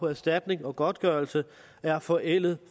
erstatning og godtgørelse er forældede